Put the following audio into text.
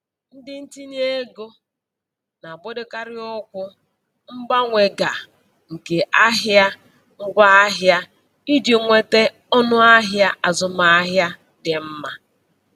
Ndị ntinyeego na-agbadokarị ụkwụ mgbanwe ga nke ahịa ngwaahịa iji nweta ọnụahịa azụmahịa dị mma.